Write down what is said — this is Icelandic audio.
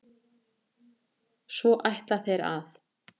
Svo ætla þeir að?